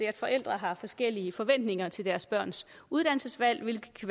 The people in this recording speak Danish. at forældre har forskellige forventninger til deres børns uddannelsesvalg hvilket